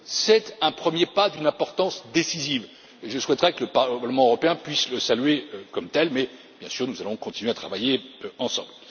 C'est un premier pas d'une importance décisive, et je souhaiterais que le Parlement européen puisse le saluer comme tel mais, bien sûr, nous allons continuer à travailler ensemble.